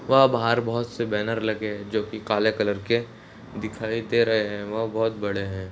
वहाँ बाहर बहुत से बैनर लगे है जो की काले कलर के दिखाई दे रहे है वह बहुत बड़े है।